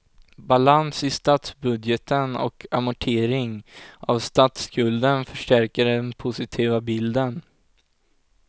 Balans i statsbudgeten och amortering av statsskulden förstärker den positiva bilden.